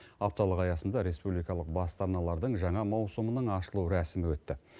апталық аясында республикалық басты арналардың жаңа маусымының ашылу рәсімі өтті